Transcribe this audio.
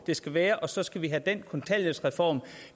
de skal være og så skal vi have den kontanthjælpsreform